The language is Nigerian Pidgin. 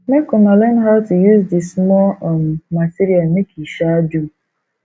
make una learn how to use di small um material make e um do